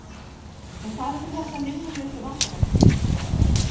en hvað um þessar linnulausu vangaveltur?